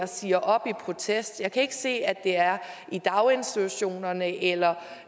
siger op i protest jeg kan ikke se at det er i daginstitutionerne eller